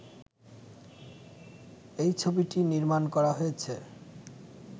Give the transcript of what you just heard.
এই ছবিটি নির্মাণ করা হয়েছে